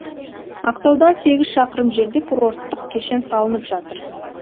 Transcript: ақтаудан сегіз шақырым жерде курорттық кешен салынып жатыр